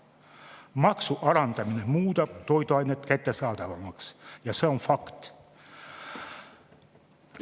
Maksu alandamine muudab toiduained kättesaadavamaks, see on fakt.